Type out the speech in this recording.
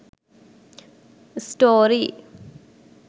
story